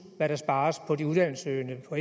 hvad der spares på de uddannelsessøgende på